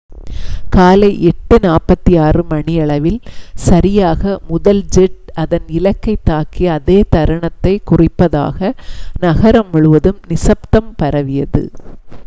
காலை 8:46 மணியளவில் சரியாக முதல் ஜெட் அதன் இலக்கைத் தாக்கிய அதே தருணத்தைக் குறிப்பதாக நகரம் முழுவதும் நிசப்தம் பரவியது